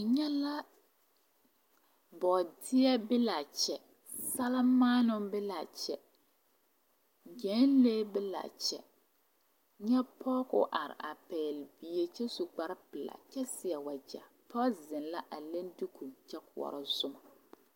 N nyɛɛ boodeɛ be la a kyɛ salemaanoo be la a kyɛ gyɛnlee be la kyɛ nyɛ pɔge ka o are a pɛgle bie kyɛ su kpare pelaa kyɛ seɛ wagyɛ a pɔge zeŋ la a le duko kyɛ koɔrɔ zona.